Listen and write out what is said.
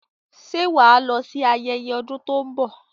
Ṣé wà á lọ sí ayẹyẹ ọdún tó ń bọ̀?